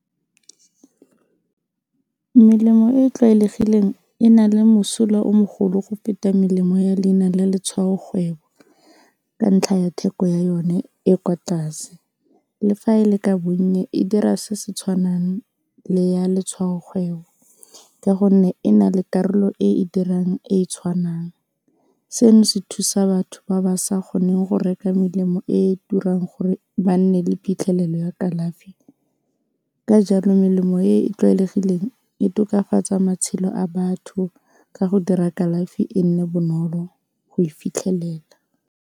Melemo e e tlwaelegileng e na le mosola o mogolo go feta melemo ya leina la letshwaokgwebo ka ntlha ya theko ya yone e kwa tlase, le fa e le ka bonnye e dira se se tshwanang le ya letshwaokgwebo ka gonne e na le karolo e e dirang e e tshwanang seno se thusa batho ba ba sa kgoneng go reka melemo e e turang gore ba nne le phitlhelelo ya kalafi ka jalo melemo e e tlwaelegileng e tokafatsa matshelo a batho ka go dira kalafi e nne bonolo go e fitlhelela.